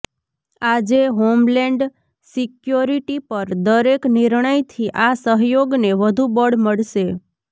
આજે homeland security પર દરેક નિર્ણયથી આ સહયોગને વધુ બળ મળશે